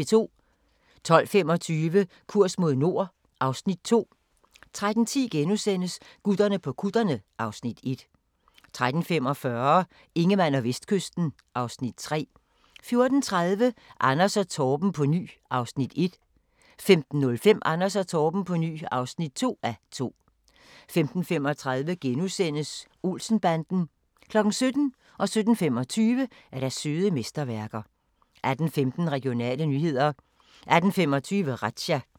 12:25: Kurs mod nord (Afs. 2) 13:10: Gutterne på kutterne (Afs. 1)* 13:45: Ingemann og Vestkysten (Afs. 3) 14:30: Anders & Torben på ny (1:2) 15:05: Anders & Torben på ny (2:2) 15:35: Olsen-banden * 17:00: Søde mesterværker 17:25: Søde mesterværker 18:15: Regionale nyheder 18:25: Razzia